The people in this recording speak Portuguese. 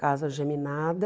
Casa geminada.